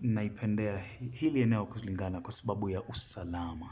naipendea hili eneo kulingana kwa sababu ya usalama.